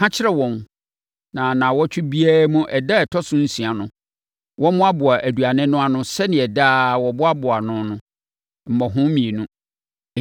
Ka kyerɛ wɔn na nnawɔtwe biara mu ɛda a ɛtɔ so nsia no, wɔmmoaboa aduane no ano sɛdeɛ daa wɔboaboa no no, mmɔho mmienu.”